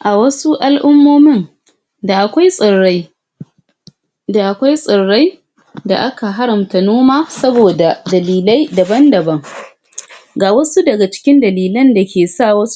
a wasu al'ummomin da akwai tsirai da akwai tsirai da aka haramta noma saboda dalilai daban daban ga wasu daga ckin dalilai dake tsirai